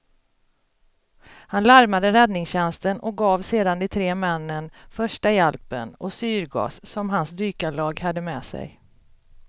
Han larmade räddningstjänsten och gav sedan de tre männen första hjälpen och syrgas som hans dykarlag hade med sig.